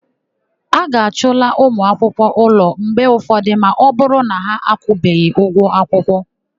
A ga-achụla ụmụakwụkwọ ụlọ mgbe ụfọdụ ma ọbụrụ na ha akwụbeghi ụgwọ akwụkwọ.